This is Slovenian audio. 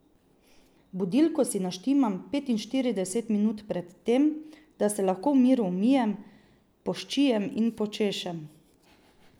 Budilko si naštimam petinštirideset minut pred tem, da se lahko v miru umijem, poščijem in počešem.